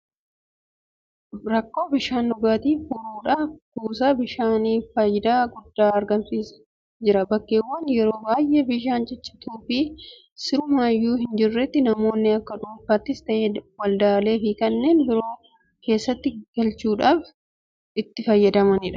Rakkoo bishaan dhugaatii furuudhaaf kuusaan bishaanii faayidaa guddaa argamsiisaa jira. Bakkeewwan yeroo baay'ee bishaan ciccituufi sirumayyuu hinjirretti namoonni akka dhuunfaattis ta'u waldaaleefi kanneen biroo keessatti galfachuudhaan itti fayyadamu. Qulqullinni Bishaan dhugaatii kuusaa kana keessaa dhugamuu hammam gahaadha?